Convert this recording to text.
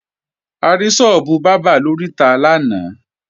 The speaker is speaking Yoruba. A rí sọ́ọ́bù bábà lóríta náà lánàá